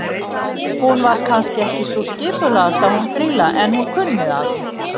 Hún var kannski ekki sú skipulagðasta hún Grýla, en hún kunni að.